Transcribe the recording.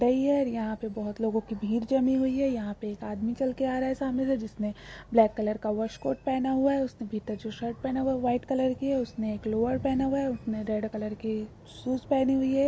यहां पर बहुत लोगों की भीड़ जमी हुई है यहां पर एक आदमी चलकर आ रहा है सामने से जिसने ब्लैक कलर का वाश कोट पहना हुआ है उसने भीतर जो शर्ट पहना हुआ है वो व्हाइट कलर की है उसने एक लोअर पहना हुआ हैं उसने रेड कलर की शूज पहनी हुई हैं।